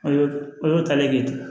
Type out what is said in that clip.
O y'o o y'o ta ne ye